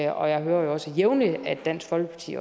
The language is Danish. og jeg hører også jævnligt at dansk folkeparti